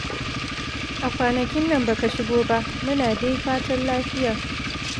A kwanakin nan baka shigo ba. Muna dai fatan lafiya.